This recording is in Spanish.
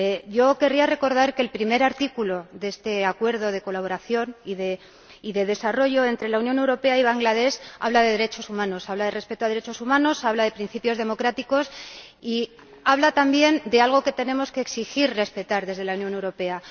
Yo querría recordar que el primer artículo de este Acuerdo de Colaboración y Desarrollo entre la Unión Europea y Bangladés habla de derechos humanos, habla de respeto a los derechos humanos, habla de principios democráticos y habla también de algo que tenemos que exigir y respetar desde la Unión Europea.